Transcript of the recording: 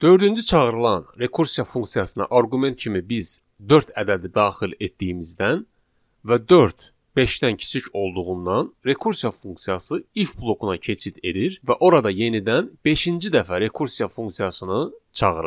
Dördüncü çağırılan rekursiya funksiyasına arqument kimi biz dörd ədədi daxil etdiyimizdən və dörd beşdən kiçik olduğundan rekursiya funksiyası if blokuna keçid edir və orada yenidən beşinci dəfə rekursiya funksiyasını çağırır.